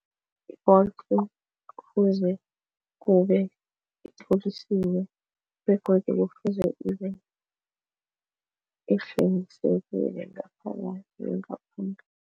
I-Bolt kufuze kube itlolisiwe begodu kufuze ngaphakathi nangaphandle.